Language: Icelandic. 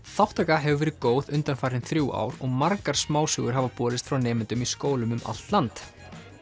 þátttaka hefur verið góð undanfarin þrjú ár og margar smásögur hafa borist frá nemendum í skólum um allt land